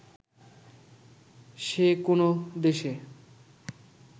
সে কোন্ দেশে